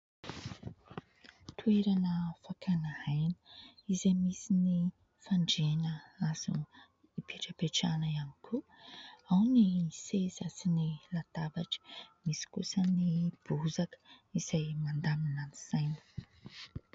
Toerana fakana aina izay misy ny fandrina azo ipetrapetrahana ihany koa, ao ny ny seza sy ny latabatra. Misy kosa ny bozaka izay mandamina ny saina.